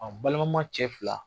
A balimama cɛ fila.